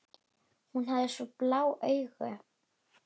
Hún hafði svo blá augu.